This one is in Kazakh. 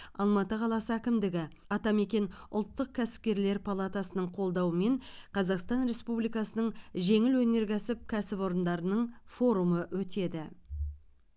алматы қаласы әкімдігі атамекен ұлттық кәсіпкерлер палатасының қолдауымен қазақстан республикасының жеңіл өнеркәсіп кәсіпорындарының форумы өтеді